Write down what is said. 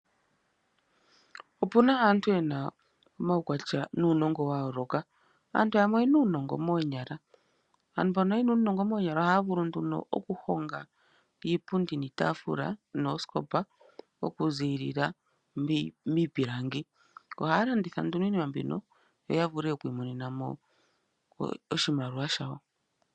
Opuna aantu ye na omaukwatya nuunongo wa yooloka. Aantu yamwe oyena uunongo moonyala. Aantu mba ye na uunongo moonyala ohaya vulu oku honga iipundi, iitaafula noosikopa oku ziilila miipilangi. Ohaya landitha nduno iinima yawo mbino yo ya vule oku imonena oshimaliwa shawo.